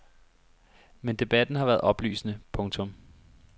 Men debatten har været oplysende. punktum